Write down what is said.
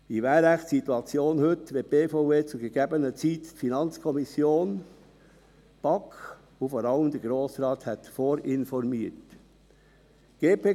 Wie wäre wohl die Situation heute, wenn die BVE zu gegebener Zeit die FiKo, die BaK und vor allem den Grossen Rat vorinformiert hätte?